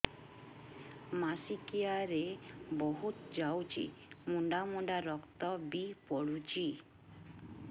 ମାସିକିଆ ରେ ବହୁତ ଯାଉଛି ମୁଣ୍ଡା ମୁଣ୍ଡା ରକ୍ତ ବି ପଡୁଛି